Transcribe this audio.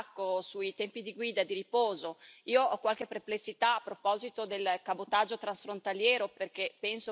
Io ho qualche perplessità a proposito del cabotaggio transfrontaliero, perché penso che si presti a delle elusioni.